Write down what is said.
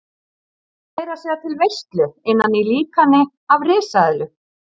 Hann bauð meira að segja til veislu innan í líkani af risaeðlu.